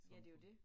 Ja det jo det